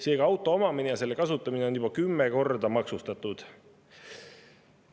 Seega, auto omamine ja selle kasutamine on juba kümme korda maksustatud.